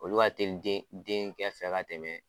Olu ka teli den denkɛ sira fɛ ka tɛmɛn